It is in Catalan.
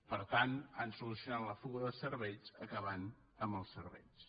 per tant han solucionat la fuga de cervells acabant amb els cervells